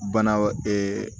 Bana